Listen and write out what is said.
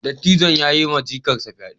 Dattijon ya yiwa jikarsa fyade.